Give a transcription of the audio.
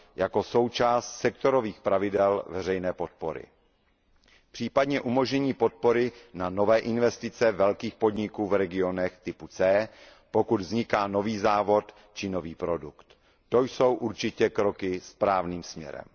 jako součást sektorových pravidel veřejné podpory. Případně umožnění podpory na nové investice velkých podniků v regionech typu C, pokud vzniká nový závod či nový produkt. To jsou určitě kroky správným směrem.